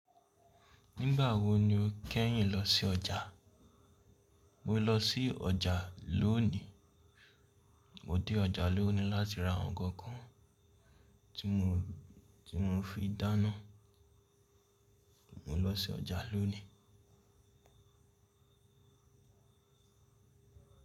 Nígbà wo ni o kẹ́yìn lọ sí ọjà? Mo lọ sí ọjà lónìí. Mo dé ọjà lónìí láti ra nkan kan tí mo fi dáná. Mo lọ sí ọjà lónìí.